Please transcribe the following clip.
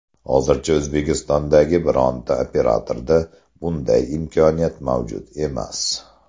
Hozircha O‘zbekistondagi bironta operatorda bunday imkoniyat mavjud emas.